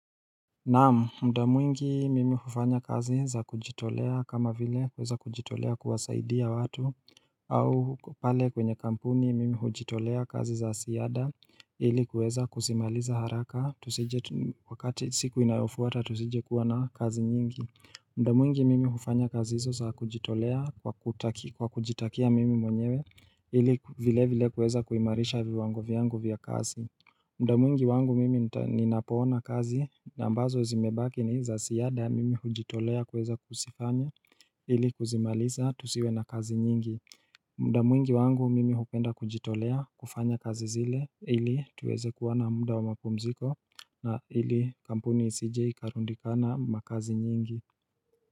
Naam mda mwingi mimi hufanya kazi za kujitolea kama vile kuweza kujitolea kuwasaidia watu au pale kwenye kampuni mimi hujitolea kazi za ziada ili kuweza kuzimaliza haraka tusije wakati siku inayofuata tusije kuwa na kazi nyingi mda mwingi mimi hufanya kazi hizo za kujitolea kwa kujitakia mimi mwenyewe ili vile vile kuweza kuimarisha viwango vyangu vya kazi mda mwingi wangu mimi ninapoona kazi na ambazo zimebaki ni za ziada mimi hujitolea kuweza kuzifanya ili kuzimaliza tusiwe na kazi nyingi muda mwingi wangu mimi hupenda kujitolea kufanya kazi zile ili tuweze kuwa na muda wa mapumziko na ili kampuni isije ikarundikana makazi nyingi.